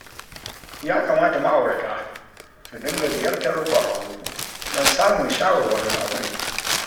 Ya kama ma'aurata su dinga ziyartar ƙwararru don samun shawarwarin aure